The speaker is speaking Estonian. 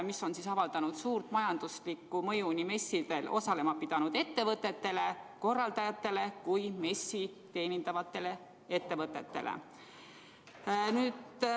See on avaldanud suurt majanduslikku mõju nii messidel osalema pidanud ettevõtetele ja korraldajatele kui ka messi teenindavatele ettevõtetele.